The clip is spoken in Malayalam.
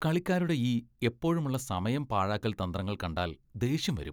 കളിക്കാരുടെ ഈ എപ്പോഴുമുള്ള സമയം പാഴാക്കൽ തന്ത്രങ്ങൾ കണ്ടാൽ ദേഷ്യം വരും.